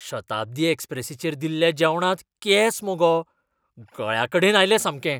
शताब्दी एक्स्प्रेसीचेर दिल्ल्या जेवणांत केंस मगो. गळ्याकडेन आयलें सामकें.